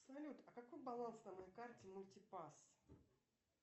салют а какой баланс на моей карте мультипас